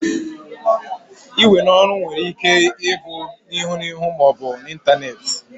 Iwe n'oru were Ike ibu n'ihu n'ihu ma obu n'Ịntanet